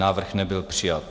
Návrh nebyl přijat.